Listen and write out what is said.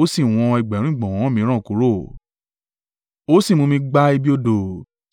Ó sì wọn ẹgbẹ̀rún ìgbọ̀nwọ́ mìíràn kúrò, ó sì mú mi gba ibi odò